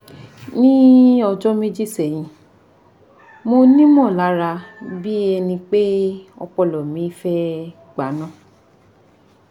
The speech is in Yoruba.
ni ọjọ meji sẹhin monimọ lara bi e ọpọlọ mi fe gba ina